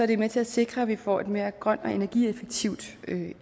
det med til at sikre at vi får et mere grønt og energieffektivt